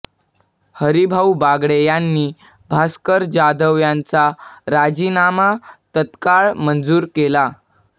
हरिभाऊ बागडे यांनी भास्कर जाधव यांचा राजीनामा तत्काळ मंजूर केला